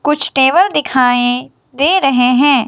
कुछ टेबल दिखायी दे रहे हैं।